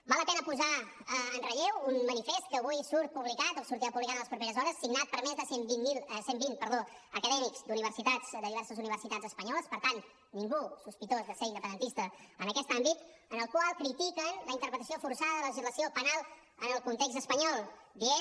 val la pena posar en relleu un manifest que avui surt publicat o que sortirà publicat en les properes hores signat per més de cent vint acadèmics d’universitats de diverses universitats espanyoles per tant ningú sospitós de ser independentista en aquest àmbit en el qual critiquen la interpretació forçada de la legislació penal en el context espanyol dient